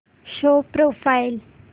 show profile